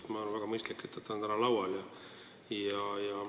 Ma arvan, et on väga mõistlik, et see on täna laual.